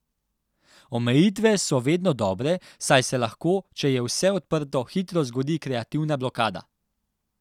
Omejitve so vedno dobre, saj se lahko, če je vse odprto, hitro zgodi kreativna blokada.